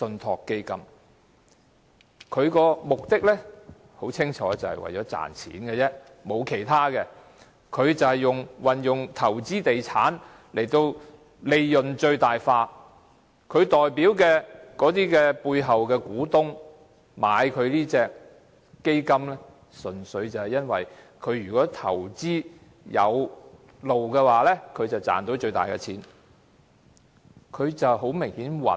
它的目的很清楚，就是為了賺錢，沒有其他目的，它運用投資地產使利潤最大化，它代表的那些在背後的股東購買這基金，純粹因為如果這基金投資有道的話，便賺到最大利潤。